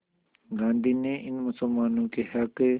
गांधी ने इन मुसलमानों के हक़